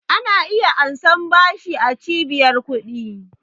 Ana iya ansan bashi a cibiyar ƙudi